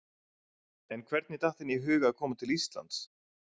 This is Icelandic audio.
En hvernig datt henni í hug að koma til Íslands?